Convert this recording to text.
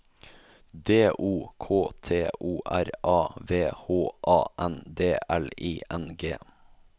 D O K T O R A V H A N D L I N G